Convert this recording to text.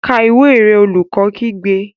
Ka ìwé rẹ! Olùkọ́ kígbe.